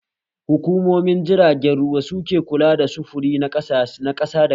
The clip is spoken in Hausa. Hukumomin jiragen ruwa su ke kula da sufuri na ƙasa da ƙasa